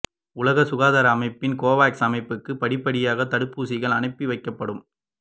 உலக சுகாதார அமைப்பின் கோவாக்ஸ் அமைப்புக்கு படிப்படியாக தடுப்பூசிகள் அனுப்பி வைக்கப்படும்